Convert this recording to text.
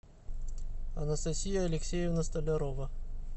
анастасия алексеевна столярова